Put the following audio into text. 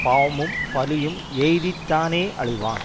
பாவமும் பலியும் எய்தித் தானே அழிவான்